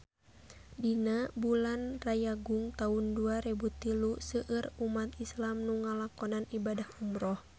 Dina bulan Rayagung taun dua rebu tilu seueur umat islam nu ngalakonan ibadah umrah